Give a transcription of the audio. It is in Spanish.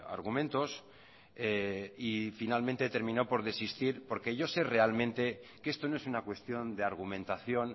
argumentos y finalmente he terminado por desistir porque yo se realmente que esto no es una cuestión de argumentación